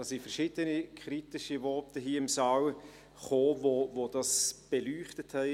Dazu kamen verschiedene kritische Voten hier im Saal, die das beleuchtet haben.